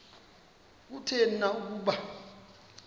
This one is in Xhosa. kutheni na ukuba